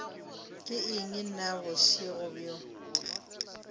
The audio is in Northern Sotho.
ke eng na bošego bjo